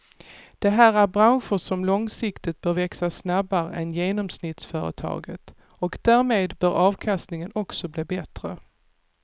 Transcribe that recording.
Det här är branscher som långsiktigt bör växa snabbare än genomsnittsföretaget och därmed bör avkastningen också bli bättre.